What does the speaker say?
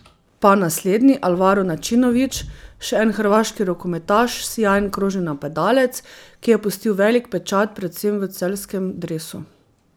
Pa naslednji, Alvaro Načinović, še en hrvaški rokometaš, sijajen krožni napadalec, ki je pustil velik pečat predvsem v celjskem dresu.